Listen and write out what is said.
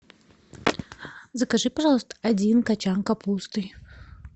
закажи пожалуйста один кочан капусты